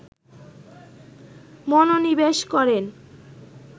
মনোনিবেশ করেন